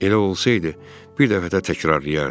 Elə olsaydı, bir dəfə də təkrarlayardı.